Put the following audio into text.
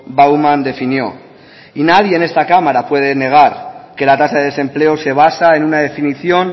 bauman definió y nadie en esta cámara puede negar que la tasa de desempleo se basa en una definición